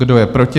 Kdo je proti?